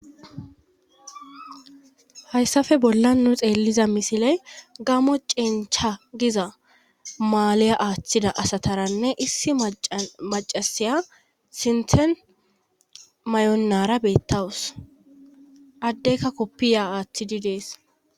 Hayssafe bolla nu xeelliza misiley gamo cencha giza maaliya aaththida asataranne issi macasiya sinthen may7onnara beettawus addeyka koppiya aaththidi dees.